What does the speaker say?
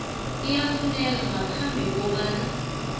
iyafuneka ngaphambi kobana